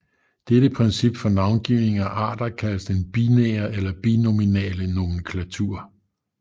Dette princip for navngivning af arter kaldes den binære eller binominale nomenklatur